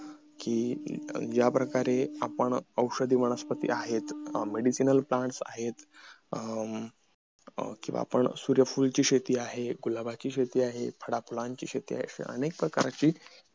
कि या प्रकारे आपण औषधी वनस्पती आहेत medicinal plant आहेत अं आणखी सूर्यफुलंची शेती आहेत, गुलाबाची शेती आहेत फळाफुलांची शेती आहेत असे अनेक प्रकारची